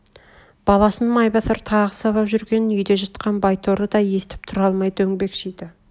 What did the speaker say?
баласын майбасар тағы сабап жүргенін үйде жатқан байторы да естіп тұра алмай дөңбекшиді